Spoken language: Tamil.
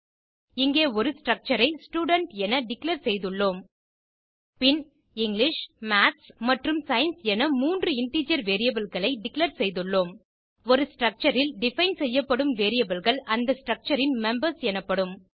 இங்கே ஒரு ஸ்ட்ரக்சர் ஐ ஸ்டூடென்ட் என டிக்ளேர் செய்துள்ளோம் பின் இங்கிலிஷ் மாத்ஸ் மற்றும் சயன்ஸ் என மூன்று இன்டிஜர் வேரியபிள் களை டிக்ளேர் செய்துளோம் ஒரு ஸ்ட்ரக்சர் ல் டிஃபைன் செய்யப்படும் வேரியபிள் கள் அந்த ஸ்ட்ரக்சர் ன் மெம்பர்ஸ் எனப்படும்